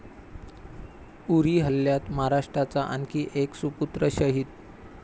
उरी हल्ल्यात महाराष्ट्राचा आणखी एक सुपुत्र शहीद